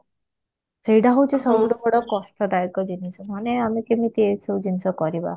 ସେଇଟା ହଉଛି ସବୁ ଠୁ ବଡ କଷ୍ଟ ଦାୟକ ଜିନିଷ ନହେଲେ ଆମେ କେମିତି ଏସବୁ ଜିନିଷ କରିବା